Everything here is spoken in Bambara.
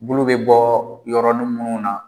Bulu bɛ bɔ yɔrɔin minnu na